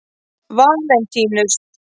Valentínus